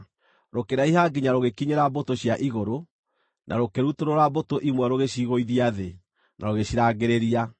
Rũkĩraiha nginya rũgĩkinyĩra mbũtũ cia igũrũ, na rũkĩrutũrũra mbũtũ imwe rũgĩcigũithia thĩ na rũgĩcirangĩrĩria.